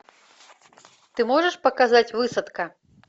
ты можешь показать высадка